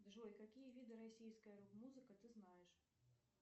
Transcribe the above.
джой какие виды российской рок музыки ты знаешь